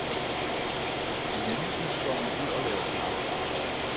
I mellemtiden går man ud og laver kaffe.